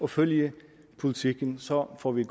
følge politikken så får vi